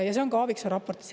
Ja see on ka Aaviksoo raportis.